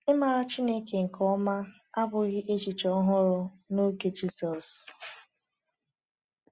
Ịmara Chineke nke ọma abụghị echiche ọhụrụ n’oge Jizọs.